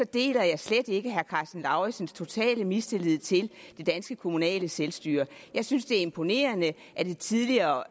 deler jeg slet ikke herre karsten lauritzens totale mistillid til det danske kommunale selvstyre jeg synes det er imponerende at det tidligere